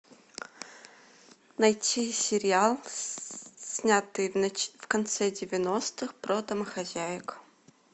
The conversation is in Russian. найти сериал снятый в конце девяностых про домохозяек